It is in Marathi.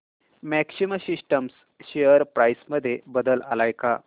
मॅक्सिमा सिस्टम्स शेअर प्राइस मध्ये बदल आलाय का